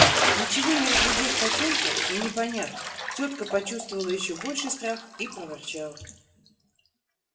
ничего не разглядев в потёмках и не поняв тётка почувствовала ещё больший страх и проворчала